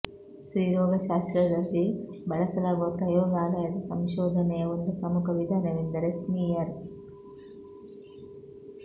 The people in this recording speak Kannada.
ಸ್ತ್ರೀರೋಗ ಶಾಸ್ತ್ರದಲ್ಲಿ ಬಳಸಲಾಗುವ ಪ್ರಯೋಗಾಲಯದ ಸಂಶೋಧನೆಯ ಒಂದು ಪ್ರಮುಖ ವಿಧಾನವೆಂದರೆ ಸ್ಮೀಯರ್